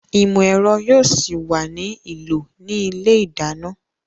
Ìmọ̀ ẹ̀rọ yóò ṣì wà ní ìlò ní ilé ìdáná